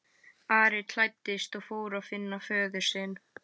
Ari klæddist og fór að finna föður sinn.